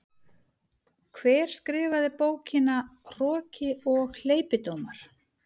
Hver skrifaði bókina Hroki og hleypidómar?